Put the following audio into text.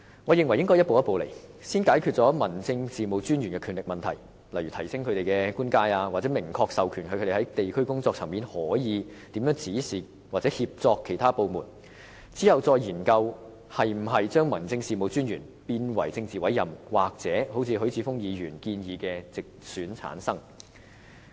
我認為應該一步一步來，就是先解決 DO 的權力問題，例如提升他們的官階，明確授權他們在地區工作層面可以指示或協作其他部門，之後再研究是否將 DO 改為政治委任，又或如許智峯議員所建議般經直選產生。